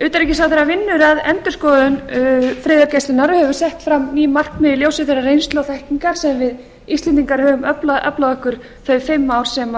utanríkisráðherra vinnur að endurskoðun friðargæslunnar og hefur sett fram ný markmið í ljósi þeirrar reynslu og þekkingar sem við íslendingar höfum aflað okkur þau fimm ár sem